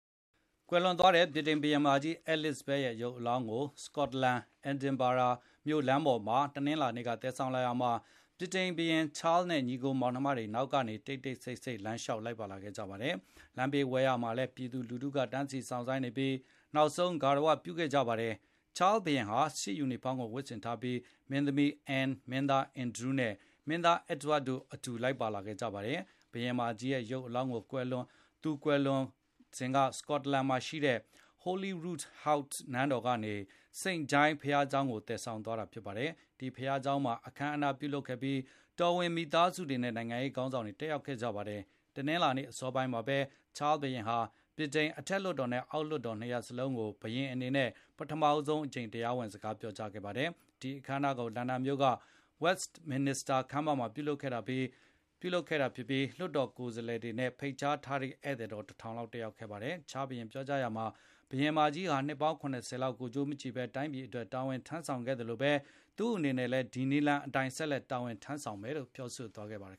ကွယ်လွန်သွားတဲ့ ဗြိတိန်ဘုရင်မကြီး Elizabeth ရဲ့ရုပ်အလောင်းကို စကော့တလန် Edinburgh လမ်းပေါ်မှာ တနင်္လာနေ့က သယ်ဆောင်လာရာမှာ ဗြိတိန်ဘုရင် ချားလ်နဲ့ ညီအကိုမောင်နှမတွေကနောက်ကနေ တိတ်တိတ်ဆိတ်ဆိတ် လမ်းလျှောက်လိုက်ပါ လာခဲ့ကြပါတယ်။ လမ်းဘေးဝဲယာမှာလည်းပြည်သူလူထုကတန်းစီစောင့်ဆိုင်းနေပြီး နောက်ဆုံးဂါရဝပြုခဲ့ကြပါတယ်။ ချားစ်ဘုရင်ဟာ စစ်ယူနီဖေါင်းကိုဝတ်ဆင်ထားပြီး၊ မင်းသမီး အန်းန်၊ မင်းသား အန်ဒရူးနဲ့ မင်းသားအက်ဒဝပ်တို့ အတူ လိုက်ပါလာခဲ့ကြပါတယ်။ ဘုရင်မကြီးရဲ့ရုပ်အလောင်းကို သူကွယ်လွန်ခဲ့တဲ့ စကော့တလန်မှာရှိတဲ့ Holyroodhouse နန်းတော်ကနေ စိန့် Giles ဘုရားကျောင်းကိုသယ်ဆောင်သွားတာဖြစ်ပါတယ်။ ဒီဘုရားကျောင်းမှာ အခမ်းအနား ပြုလုပ်ခဲ့ပြီး တော်ဝင်မိသားစုတွေနဲ့နိုင်ငံရေးခေါင်းဆောင်တွေတက်ရောက်ခဲ့ကြပါတယ်။ တနင်္လာနေ့အစောပိုင်းမှာဘဲ ချား ဘုရင်ဟာ ဗြိတိန်ရဲ့ အထက်လွှတ်တော်နဲ့အောက်လွှတ်တော်နှစ်ရပ်လုံးကို ဘုရင်အနေ နဲ့ ပထမဆုံးအကြိမ်တရားဝင်စကားပြောကြားခဲ့ပါတယ်။ ဒီအခမ်းအနားကို လန်ဒန်မြို့က Westminister Hall မှာပြုလုပ်ခဲ့တာဖြစ်ပြီး လွှတ်တော်ကိုယ်စားလှယ်တွေနဲ့ဖိတ်ကြား ထားတဲ့ဧည့်သည်တော် ၁၀၀၀ လောက်တက်ရောက်ခဲ့ကြပါတယ်။ ချားစ် ဘုရင်ကပြောကြားရာမှာ ဘုရင်မကြီးဟာ နှစ်ပေါင်း ၇၀ ကိုယ်ကျိုးမကြည့်ဘဲတိုင်းပြည်အတွက်တာဝန်ထမ်းဆောင် ခဲ့သလိုဘဲ သူ့အနေနဲ့လည်းဒီနည်လမ်းအတိုင်းတာဝန်ထမ်းဆောင်သွားမယ်လို့ ထည့်သွင်းပြောကြားခဲ့ပါတယ်